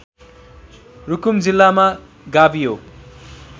रुकुम जिल्लामा गाभियो